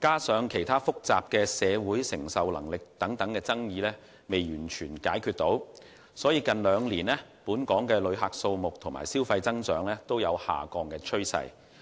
加上針對社會承受能力等其他複雜爭議尚未完全解決，本港近兩年的旅客數目和消費增長均呈下降趨勢。